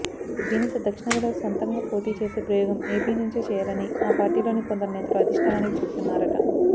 దీనితో దక్షణాదిలో సొంతంగా పోటీ చేసే ప్రయోగం ఏపీ నుంచే చేయాలని ఆ పార్టీలోని కొందరు నేతలు అధిష్టానానికి చెబుతున్నారట